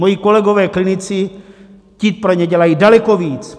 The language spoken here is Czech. Moji kolegové klinici, ti pro ně dělají daleko víc.